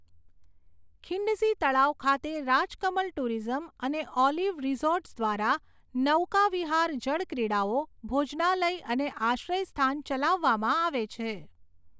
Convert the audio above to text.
ખિંડસી તળાવ ખાતે રાજકમલ ટુરિઝમ અને ઓલિવ રિઝોર્ટ્સ દ્વારા નૌકાવિહાર, જળક્રીડાઓ, ભોજનાલય અને આશ્રયસ્થાન ચલાવવામાં આવે છે.